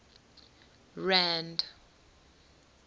rand